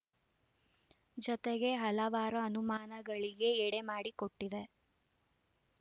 ಜತೆಗೆ ಹಲವಾರು ಅನುಮಾನಗಳಿಗೆ ಎಡೆ ಮಾಡಿಕೊಟ್ಟಿದೆ